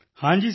ਹਾਂ ਜੀ ਸਰ